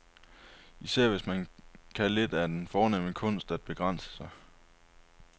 Især hvis man kan lidt af den fornemme kunst at begrænse sig.